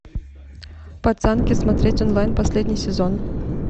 пацанки смотреть онлайн последний сезон